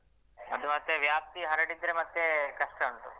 ಅದು ಮತ್ತೆ ಜಾಸ್ತಿ ಹರಡಿದ್ರೆ ಮತ್ತೆ ಕಷ್ಟ ಉಂಟು.